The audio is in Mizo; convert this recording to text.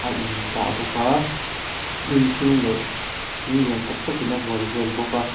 a in dah bawk a hnim hring leh thing lian tak tak in a hual bawk a.